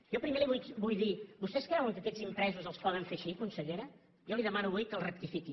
jo primer li vull dir vostès creuen que aquests impresos els poden fer així consellera jo li demano avui que el rectifiqui